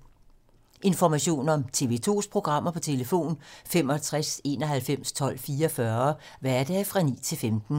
Information om TV 2's programmer: 65 91 12 44, hverdage 9-15.